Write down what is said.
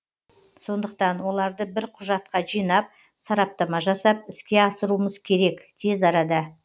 сондықтан оларды бір құжатқа жинап сараптама жасап іске асыруымыз керек тез арада